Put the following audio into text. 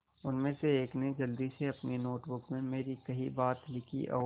उनमें से एक ने जल्दी से अपनी नोट बुक में मेरी कही बातें लिखीं और